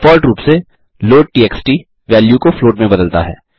default रूप से loadtxt value को फ्लॉट में बदलता है